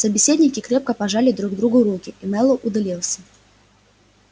собеседники крепко пожали друг другу руки и мэллоу удалился